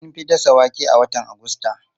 An fi dasa wake a watan Agusta.